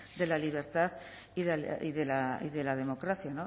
de la libertad y de la democracia